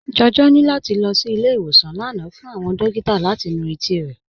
Jọjọ ni lati lọ sí ilẹ̀-ìwọsàn lánà fún awọn dòkìtà láti nú etí rẹ.